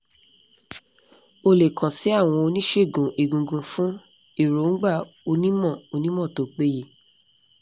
o le kan si awon onisegun egungun fun eroungba onimo onimo to peye